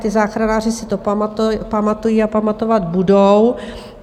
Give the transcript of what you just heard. Ti záchranáři si to pamatují a pamatovat budou.